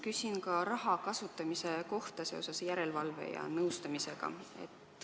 Küsin ka raha kasutamise kohta seoses järelevalve ja nõustamisega.